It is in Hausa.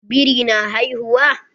Biri na haihuwa?